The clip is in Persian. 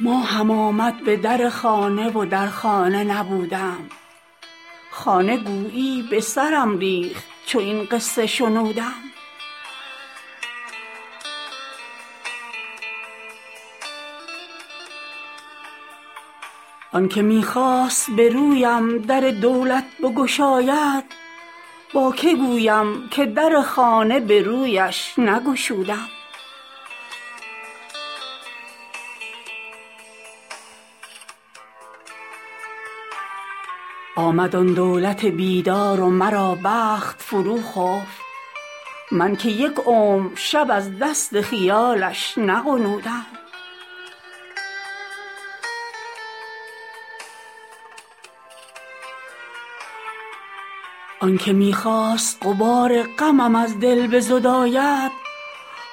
ماهم آمد به در خانه و در خانه نبودم خانه گویی به سرم ریخت چو این قصه شنودم آن که می خواست برویم در دولت بگشاید با که گویم که در خانه به رویش نگشودم آمد آن دولت بیدار و مرا بخت فروخفت من که یک عمر شب از دست خیالش نغنودم آنکه می خواست غبار غمم از دل بزداید